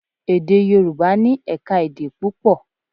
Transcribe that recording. Èdè Yorùbá ní ẹ̀ka-èdè púpọ̀.